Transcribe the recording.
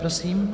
Prosím.